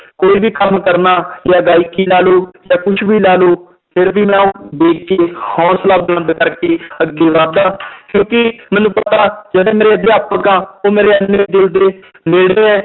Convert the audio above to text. ਕੋਈ ਵੀ ਕੰਮ ਕਰਨਾ ਜਾਂ ਗਾਇਕੀ ਲਾ ਲਓ ਜਾਂ ਕੁਛ ਵੀ ਲਾ ਲਓ ਫਿਰ ਵੀ ਮੈਂ ਉਹ ਦੇਖ ਕੇ ਹੌਸਲਾ ਬੁਲੰਦ ਕਰਕੇ ਅੱਗੇ ਵੱਧਦਾ ਕਿਉਂਕਿ ਮੈਨੂੰ ਪਤਾ ਜਿਹੜੇ ਮੇਰੇ ਅਧਿਆਪਕ ਆ ਉਹ ਮੇਰੇ ਇੰਨੇ ਦਿਲ ਦੇ ਨੇੜੈ ਹੈ